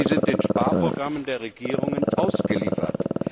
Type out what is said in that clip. Sie sind den Sparprogrammen der Regierungen ausgeliefert.